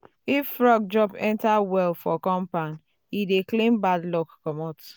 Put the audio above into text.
if frog jump enter well for compound e dey clean bad luck comot.